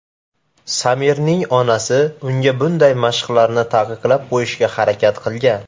Samirning onasi unga bunday mashqlarni taqiqlab qo‘yishga harakat qilgan.